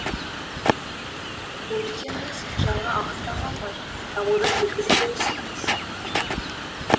бұл дегеніңіз жаңа ағыстан қалмай дамудың белгісі деп түсініңіз